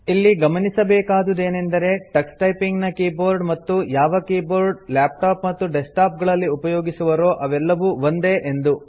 ಇಲ್ಲಿ ಗಮನಿಸಬೇಕಾದುದೇನೆಂದರೆ Tux typing ನ ಕೀಬೋರ್ಡ್ ಮತ್ತು ಯಾವ ಕೀಬೋರ್ಡ್ ಲ್ಯಾಪ್ಟಾಪ್ ಮತ್ತು ಡೆಸ್ಕ್ಟಾಪ್ ಗಳಲ್ಲಿ ಉಪಯೋಗಿಸುವರೋ ಅವೆಲ್ಲವೂ ಒಂದೇ ಎಂದು